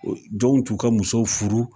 Jɔn t'u ka musow furu